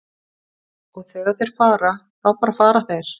Og þegar þeir fara, þá bara fara þeir.